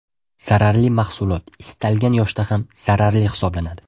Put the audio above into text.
Zararli mahsulot istalgan yoshda ham zararli hisoblanadi.